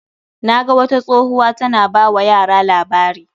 Na ga wata tsohuwa ta na ba wa yara labari.